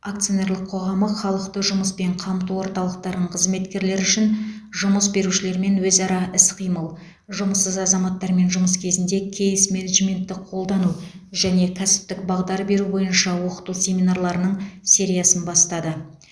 акционерлік қоғамы халықты жұмыспен қамту орталықтарын қызметкерлері үшін жұмыс берушілермен өзара іс қимыл жұмыссыз азаматтармен жұмыс кезінде кейс менеджментті қолдану және кәсіптік бағдар беру бойынша оқыту семинарларының сериясын бастады